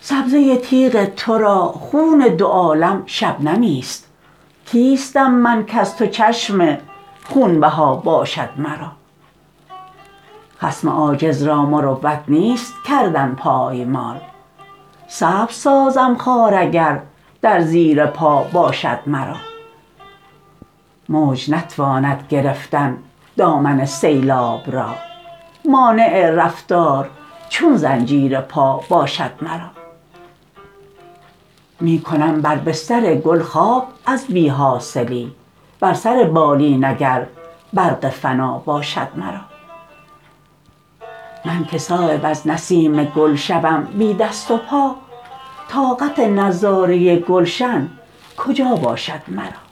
سبزه تیغ ترا خون دو عالم شبنمی است کیستم من کز تو چشم خونبها باشد مرا خصم عاجز را مروت نیست کردن پایمال سبز سازم خار اگر در زیر پا باشد مرا موج نتواند گرفتن دامن سیلاب را مانع رفتار چون زنجیر پا باشد مرا می کنم بر بستر گل خواب از بی حاصلی بر سر بالین اگر برق فنا باشد مرا من که صایب از نسیم گل شوم بی دست و پا طاقت نظاره گلشن کجا باشد مرا